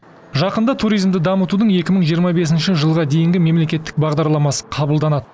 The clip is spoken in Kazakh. жақында туризмді дамытудың екі мың жиырма бесінші жылға дейінгі мемлекеттік бағдарламасы қабылданады